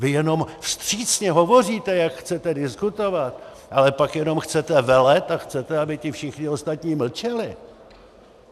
Vy jenom vstřícně hovoříte, jak chcete diskutovat, ale pak jenom chcete velet a chcete, aby ti všichni ostatní mlčeli.